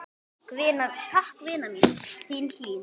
Takk, vina mín, þín Hlín.